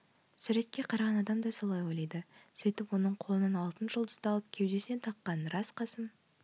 суретке қараған адам да солай ойлайды сөйтіп оның қолынан алтын жұлдызды алып кеудесіне таққан рас қасым